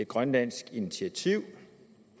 grønlandsk initiativ